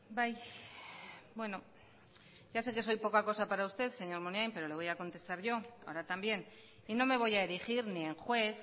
bai bueno ya sé que soy poca cosa para usted señor munain pero le voy a contestar yo ahora también y no me voy a erigir ni en juez